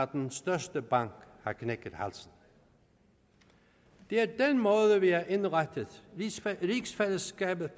den største bank har knækket halsen det er den måde vi har indrettet rigsfællesskabet